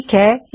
ਠੀਕ ਹੈ